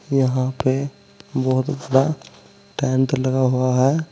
यहां पे बहुत बड़ा टेंट लगा हुआ है।